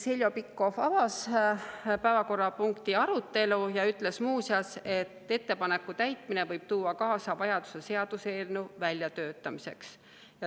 Heljo Pikhof avas päevakorrapunkti arutelu ja ütles muu seas, et ettepaneku täitmine võib tuua kaasa vajaduse seaduseelnõu väljatöötamiseks.